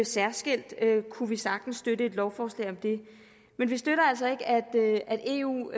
særskilt kunne vi sagtens støtte et lovforslag om det men vi støtter altså ikke at eu